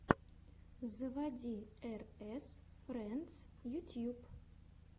заводи эр эс френдс ютьюб